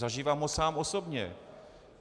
Zažívám ho sám osobně.